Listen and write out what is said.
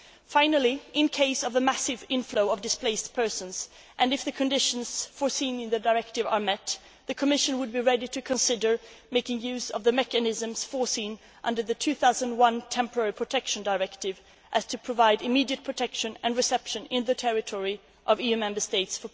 Finally, in the event of a massive influx of displaced persons and if the conditions foreseen in the directive are met, the Commission would be ready to consider making use of the mechanisms foreseen under the 2001 Temporary Protection Directive so as to provide immediate protection for these people on the territory of other EU Member States.